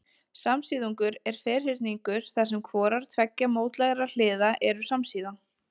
Samsíðungur er ferhyrningur þar sem hvorar tveggja mótlægra hliða eru samsíða.